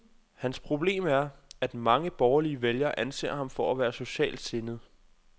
Hans problem er, at mange borgerlige vælgere anser ham for at være for socialt sindet.